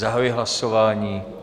Zahajuji hlasování.